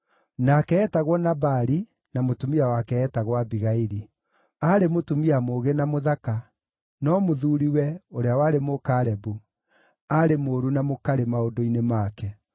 Nake eetagwo Nabali, na mũtumia wake eetagwo Abigaili. Aarĩ mũtumia mũũgĩ na mũthaka, no mũthuuriwe, ũrĩa warĩ Mũkalebu, aarĩ mũũru na mũkarĩ maũndũ-inĩ make.